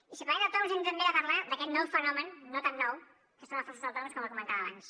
i si parlem d’autònoms hem també de parlar d’aquest nou fenomen no tan nou que són els falsos autònoms com comentava abans